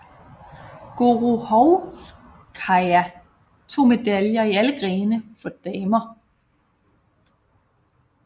Gorohovskaja tog medaljer i alle grene for damer